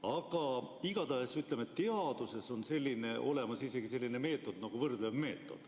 Aga igatahes, ütleme, teaduses on olemas isegi selline meetod nagu võrdlev meetod.